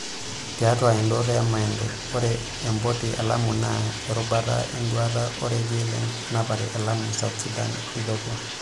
Tiatu endoto e Mande, ore empoti e lamu naa erubata enduaata orekia le napare e Lamu South Sudan Ethiopia.